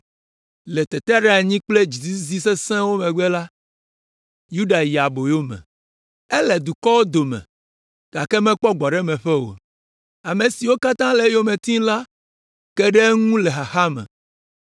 “Le teteɖeanyi kple dzizizidɔ sesẽwo megbe la, Yuda yi ɖe aboyo me. Ele dukɔwo dome gake mekpɔ gbɔɖemeƒe o. Ame siwo katã le eyome tim la ke ɖe eŋu le xaxa me.